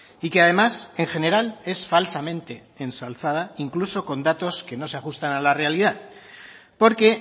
y que además en general es falsamente ensalzada incluso con datos que no se ajustan a la realidad porque